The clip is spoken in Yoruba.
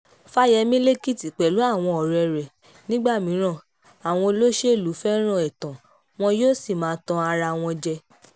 fàyẹ̀mí lẹ́kìtì pẹ̀lú àwọn ọ̀rẹ́ rẹ̀ nígbà mìíràn àwọn olóṣèlú fẹ́ràn ẹ̀tàn wọn yóò sì máa tan ara wọn jẹ